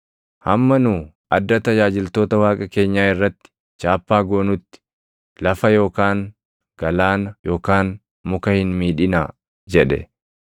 “Hamma nu adda tajaajiltoota Waaqa keenyaa irratti chaappaa goonutti lafa yookaan galaana yookaan muka hin miidhinaa” jedhe.